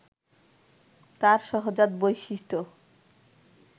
তার সহজাত বৈশিষ্ট্য